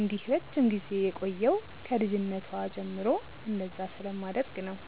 እንዲህ ረጅም ጊዜ የቆየው ከ ልጅነቷ ጀምሮ እንደዛ ስለማደርግ ነው።